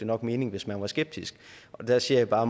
nok mening hvis man var skeptisk der siger jeg bare